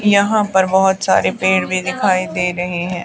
यहां पर बहुत सारे पेड़ भी दिखाई दे रहे हैं।